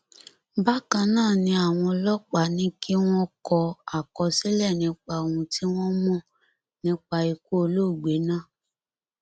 bákan náà ni àwọn ọlọpàá ní kí wọn kọ àkọsílẹ nípa ohun tí wọn mọ nípa ikú olóògbé náà